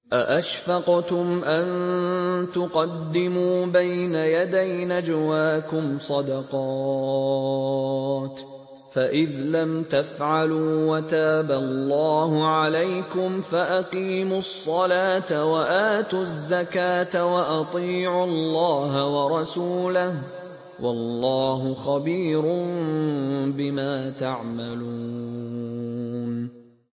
أَأَشْفَقْتُمْ أَن تُقَدِّمُوا بَيْنَ يَدَيْ نَجْوَاكُمْ صَدَقَاتٍ ۚ فَإِذْ لَمْ تَفْعَلُوا وَتَابَ اللَّهُ عَلَيْكُمْ فَأَقِيمُوا الصَّلَاةَ وَآتُوا الزَّكَاةَ وَأَطِيعُوا اللَّهَ وَرَسُولَهُ ۚ وَاللَّهُ خَبِيرٌ بِمَا تَعْمَلُونَ